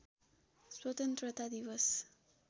स्वतन्त्रता दिवस